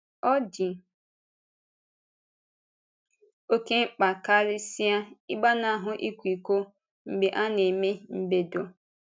Ọ dị oké mkpa karịsịa ‘ị̀gbanahụ ị̀kwa íkò’ mgbe a na-eme mbèdo.